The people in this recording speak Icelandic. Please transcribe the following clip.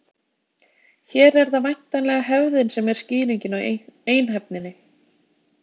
Hér er það væntanlega hefðin sem er skýringin á einhæfninni.